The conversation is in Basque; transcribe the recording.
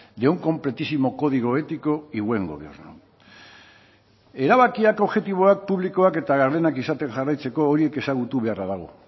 de un completísimo código ético y buen gobierno erabakiak objektiboak publikoak eta gardenak izaten jarraitzeko horiek ezagutu beharra dago